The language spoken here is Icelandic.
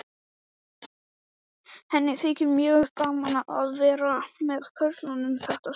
Henni þykir mjög gaman að vera með körlunum þetta sumar.